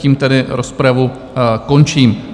Tím tedy rozpravu končím.